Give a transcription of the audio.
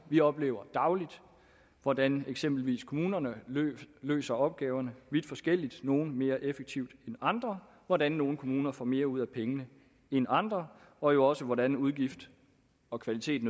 vi oplever dagligt hvordan eksempelvis kommunerne løser opgaverne vidt forskelligt nogle mere effektivt end andre og hvordan nogle kommuner får mere ud af pengene end andre og jo også hvordan udgifter og kvalitet